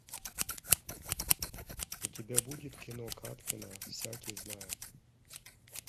у тебя будет кино кадкина всякий знает